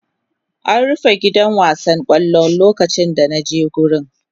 An rufe gidan wasan kwaikwayo lokacin da na je wurin.